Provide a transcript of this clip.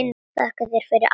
Þakka þér fyrir, Arnar.